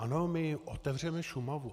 Ano, my otevřeme Šumavu.